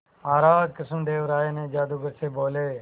महाराज कृष्णदेव राय जादूगर से बोले